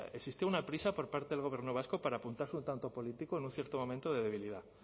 existe una prisa por parte del gobierno vasco para apuntarse un tanto político en un cierto momento de debilidad